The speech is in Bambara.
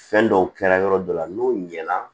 Fɛn dɔw kɛra yɔrɔ dɔ la n'o ɲɛna